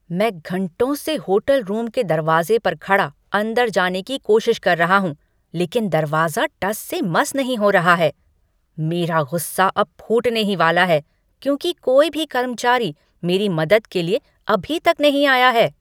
मैं घंटों से होटल रूम के दरवाजे पर खड़ा अंदर जाने की कोशिश कर रहा हूँ, लेकिन दरवाजा टस से मस नहीं हो रहा है! मेरा गुस्सा अब फूटने ही वाला है, क्योंकि कोई भी कर्मचारी मेरी मदद के लिए अभी तक नहीं आया है।